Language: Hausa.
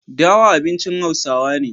dawa abincin hausawa ne